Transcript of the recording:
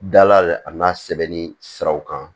Dala a n'a sɛbɛnni siraw kan